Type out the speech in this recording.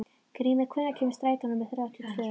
Grímey, hvenær kemur strætó númer þrjátíu og tvö?